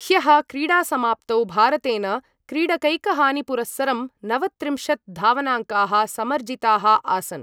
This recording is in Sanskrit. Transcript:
ह्यः क्रीडासमाप्तौ भारतेन क्रीडकैकहानिपुरस्सरं नवत्रिंशत् धावनाङ्काः समर्जिताः आसन्।